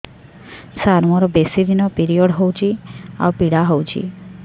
ସାର ମୋର ବେଶୀ ଦିନ ପିରୀଅଡ଼ସ ହଉଚି ଆଉ ପୀଡା ହଉଚି